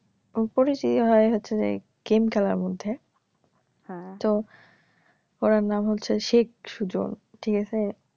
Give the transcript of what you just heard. পরিচিত হয়ে গেছে গেম খেলার মধ্যে হ্যা তো উনার নাম হচ্ছে শেখ সুজন ঠিকাছে